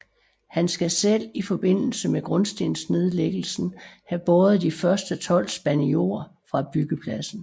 Han skal selv i forbindelse med grundstensnedlæggelsen have båret de første tolv spande jord fra byggepladsen